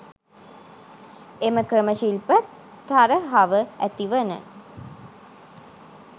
එම ක්‍රම ශිල්ප තරහව ඇති වන